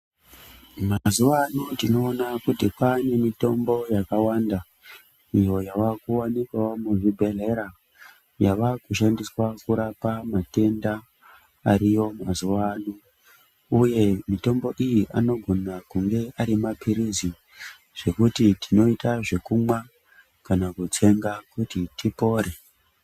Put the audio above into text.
Mazuwa ano tinoona kuti kwaanemitombo yakawanda. Iyo yaakuwanikwawo muzvibhehleya yavakushandiswa kurapa matenda ariyo mazuwa ano uye mitombo iyi anogona kunge ari papirizi zvekuti tinoita zvekumwa kana kutsenga kuti tipore.